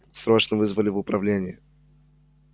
срочно вызвали в управление